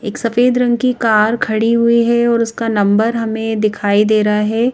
एक सफेद रंग की कार खड़ी हुई है और उसका नंबर हमें दिखाई दे रहा है।